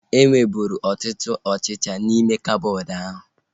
E nweburu ọtụtụ ọchịchịa n'ime koboodu ahu